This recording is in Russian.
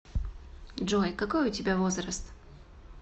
джой какой у тебя возраст